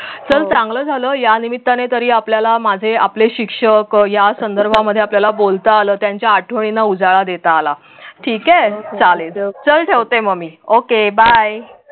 चल चांगलं झालं या निम्मिताने आपल्याला माझे आपले शिक्षक या संदर्भामध्ये आपल्याला बोलता आलं त्यांचा आठवणींना उजाळा देता आला ठीके चालेल चल ठेवते मग मी okay by